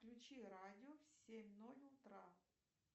включи радио в семь ноль утра